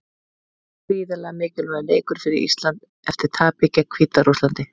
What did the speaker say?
Gríðarlega mikilvægur leikur fyrir Ísland eftir tapið gegn Hvíta-Rússlandi.